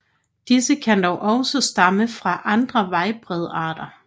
Disse kan dog også stamme fra andre vejbredarter